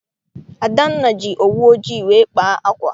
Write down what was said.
Adanna ji owu ojii wee kpaa ákwà.